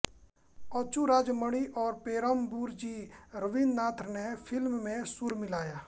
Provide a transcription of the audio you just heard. अचू राजमणि और पेरुम्बबूर जी रवीन्द्रनाथ ने फिल्म में सुर मिलाया